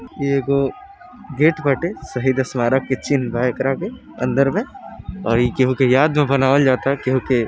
येगो gate बाटे शहीद स्मारक के चिन्ह बा एकरापे अंदर मे और ई केहुके याद में बनावल जाता केहुके --